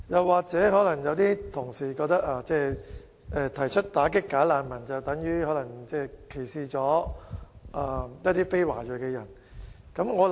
或者，有同事可能覺得提出打擊"假難民"是歧視非華裔人士。